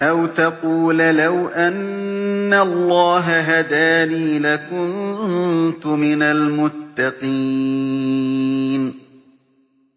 أَوْ تَقُولَ لَوْ أَنَّ اللَّهَ هَدَانِي لَكُنتُ مِنَ الْمُتَّقِينَ